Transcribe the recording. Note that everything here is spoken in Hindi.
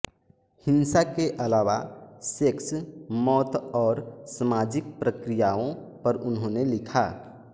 हिंसा के अलावा सेक्स मौत और सामाजिक प्रक्रियाओं पर उन्होंने लिखा